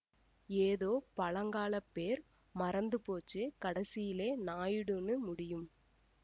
ஏதோ பழங்காலப் பேர் மறந்து போச்சு கடைசியிலே நாயுடூன்னு முடியும்